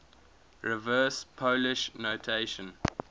reverse polish notation